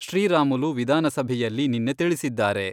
ಶ್ರೀರಾಮುಲು ವಿಧಾನಸಭೆಯಲ್ಲಿ ನಿನ್ನೆ ತಿಳಿಸಿದ್ದಾರೆ.